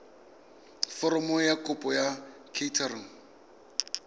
foromo ya kopo kwa kantorong